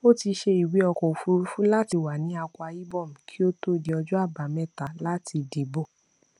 ó ti ṣe ìwé ọkọ òfúrufú láti wà ní akwa ibom kí ó tó di ọjọ àbámẹta láti dìbò